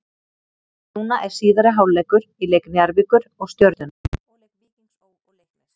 Núna er síðari hálfleikur í leik Njarðvíkur og Stjörnunnar og leik Víkings Ó. og Leiknis.